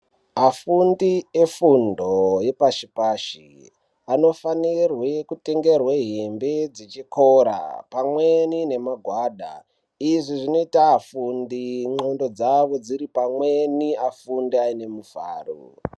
Vafundi vefundo yepashipashi anofanirwe kutengerwe hembe dzechikora pamweni nemagwada izvi zvinoita afundi nxondo dzavo dziri pamwni afunde aine mufaro.